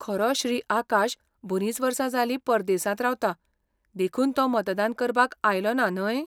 खरो श्री. आकाश बरींच वर्सां जालीं परदेसांत रावता, देखून तो मतदान करपाक आयलोना, न्हय?